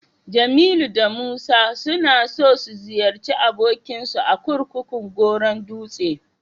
Jamilu da Musa suna so su ziyarci abokinsu a kurkukun Goron dutse.